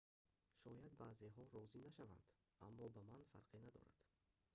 шояд баъзеҳо розӣ нашаванд аммо ба ман фарқе надорад